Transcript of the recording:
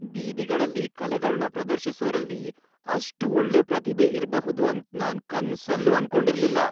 ಬೀದಿಗಳಲ್ಲಿ ಕಲೆಗಳ್ನ ಪ್ರದರ್ಶಿಸೋರಲ್ಲಿ ಅಷ್ಟ್ ಒಳ್ಳೆ ಪ್ರತಿಭೆ ಇರ್ಬಹುದು ಅಂತ್ ನಾನ್ ಕನ್ಸಲ್ಲೂ ಅನ್ಕೊಂಡಿರ್ಲಿಲ್ಲ.